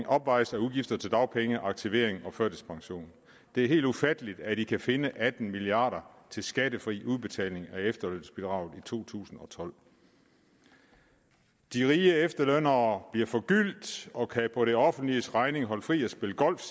opvejes af udgifter til dagpenge aktivering og førtidspension det er helt ufatteligt at man kan finde atten milliard kroner til skattefri udbetaling af efterlønsbidraget i to tusind og tolv de rige efterlønnere bliver forgyldt og kan på det offentliges regning holde fri og spille golf